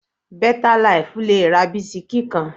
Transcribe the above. Bẹ́tà laìfù le ra bisikí kan